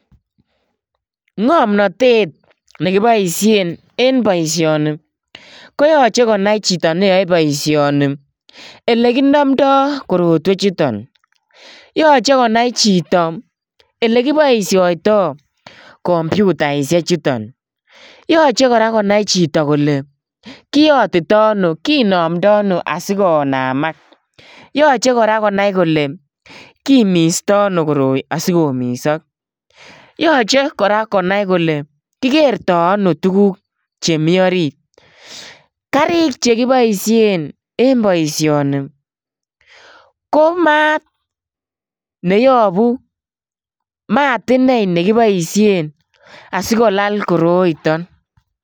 Ngomnatet nekiboisien en boisioni ko yoche konai chito neyo boisioni elekinamndo korotwechuton. Yoche konai chito elekiboisioito kompiutaisiechuto. Yoche kora konai chito kole kinamndo ano asikonamak. Yoche kora konai kole kimisto ano koroi asikomisok. Yoche kora konai kole kikerto ano tuguk che orit. Karik che kiboisien en boisioni. Komat neyabu, mat inei nekiboisien asikolal koroiton.